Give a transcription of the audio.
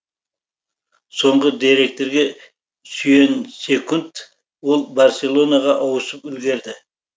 соңғы деректерге сүйенсекунд ол барселонаға ауысып үлгерді